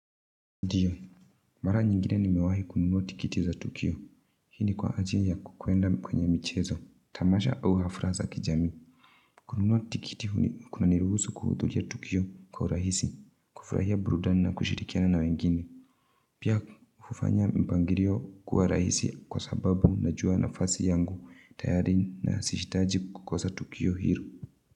Ndiyo, mara nyingine nimewahi kununua tikiti za tukio. Hii ni kwa ajili ya kukwenda kweye michezo. Tamasha au hafla za kijamii. Kununua tikiti huni kuna niruhusu kuhudhuria tukio kwa urahisi, kufurahia burudani na kushirikiana na wengine. Pia hufanya mpangilio kuwa rahisi kwa sababu najua nafasi yangu, tayari na sihitaji kukosa tukio hilo.